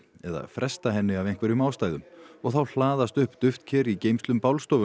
eða fresta henni af einhverjum ástæðum og þá hlaðast upp duftker í geymslum